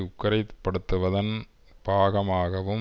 உக்கிரைப்படுத்துவதன் பாகமாகவும்